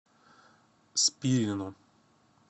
спирину